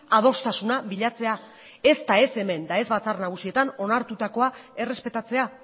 adostasuna bilatzea ez da ez hemen eta ez batzar nagusietan onartutakoa errespetatzea